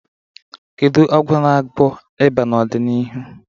Kedu ọgwụ ga-agwọ ịba n'ọdịnihu?